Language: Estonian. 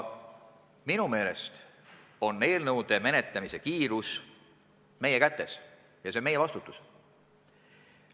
Minu meelest on eelnõude menetlemise kiirus meie kätes ja meie vastutada.